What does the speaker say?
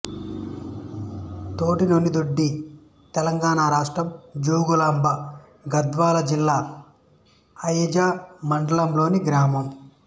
తోటినోనిదొడ్డి తెలంగాణ రాష్ట్రం జోగులాంబ గద్వాల జిల్లా అయిజ మండలంలోని గ్రామం